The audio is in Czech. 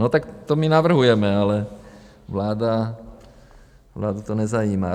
No tak to my navrhujeme, ale vládu to nezajímá.